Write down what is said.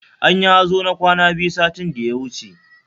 Anyi hazo na kwana biyu satin da ya wuce